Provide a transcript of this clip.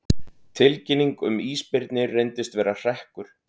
Tilkynning um ísbirni reyndist vera hrekkur